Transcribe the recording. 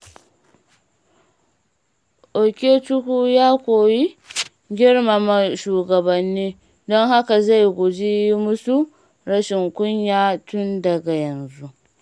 Okechukwu ya koyi girmama shugabanni, don haka zai guji yi musu rashin kunya tun daga yanzu.